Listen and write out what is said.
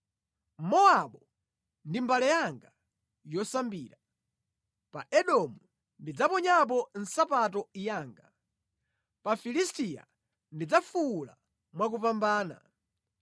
Mowabu ndi mbale yanga yosambira, pa Edomu ndidzaponyapo nsapato yanga, pa Filisitiya ndidzafuwula mwakupambana.”